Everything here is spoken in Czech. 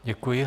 Děkuji.